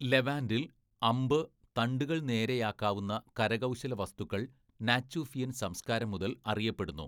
ലെവാന്റിൽ, അമ്പ്, തണ്ടുകൾ നേരെയാക്കാവുന്ന കരകൗശല വസ്തുക്കൾ നാച്ചുഫിയൻ സംസ്കാരം മുതൽ അറിയപ്പെടുന്നു.